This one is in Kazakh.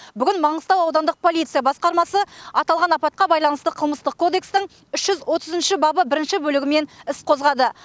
бүгін маңғыстау аудандық полиция басқармасы аталған апатқа байланысты қылмыстық кодекстің үш жүз отыз үшінші бабы бірінші бөлігімен іс қозғады